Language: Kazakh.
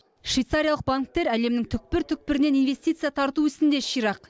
швейцариялық банктер әлемнің түкпір түкпірінен инвестиция тарту ісінде ширақ